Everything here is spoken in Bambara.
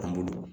An bolo